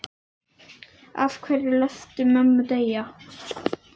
Af hverju léstu mömmu deyja?